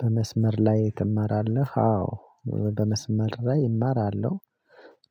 በመስመር ላይ ትማራለህ? አዎ በመስመር ላይ እማራለሁ።